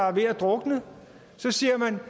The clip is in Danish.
er ved drukne og så siger man